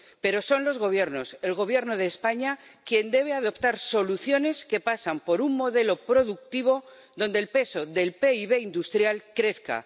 Pero son los gobiernos ―el Gobierno de España―, quienes deben adoptar soluciones que pasan por un modelo productivo donde el peso del PIB industrial crezca